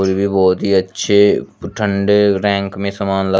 ये बहोत ही अच्छे ठंडे रैंक में समान ला--